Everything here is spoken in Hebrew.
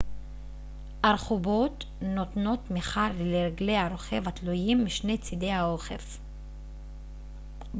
ארכובות נותנות תמיכה לרגלי הרוכב התלויים משני צידי האוכף